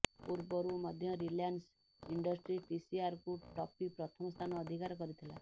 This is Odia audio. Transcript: ପୂର୍ବରୁ ମଧ୍ୟ ରିଲାନ୍ସ ଇଣ୍ଡଷ୍ଟ୍ରି ଟିସିଆରକୁ ଟପି ପ୍ରଥମ ସ୍ଥାନ ଅଧିକାର କରିଥିଲା